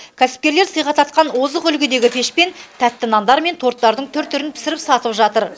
кәсіпкерлер сыйға тартқан озық үлгідегі пешпен тәтті нандар мен торттардың түр түрін пісіріп сатып жатыр